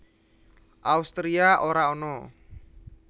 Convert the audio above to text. Austria ora ana